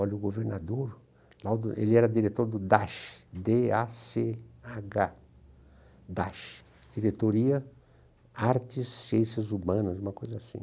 Olha, o governador Laudo, ele era diretor do Dach, dê á cê agá, Dach, Diretoria de Artes e Ciências Humanas, uma coisa assim.